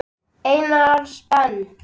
Einars Ben.